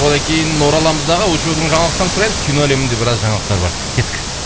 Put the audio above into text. одан кейін ораламыздағы очоудың жаңалықтарын сұраймыз кино әлемінде біраз жаңалықтар бар сияқты кеттік